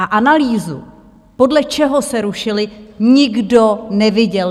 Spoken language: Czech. A analýzu, podle čeho se rušily, nikdo neviděl.